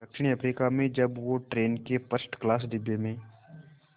दक्षिण अफ्रीका में जब वो ट्रेन के फर्स्ट क्लास डिब्बे में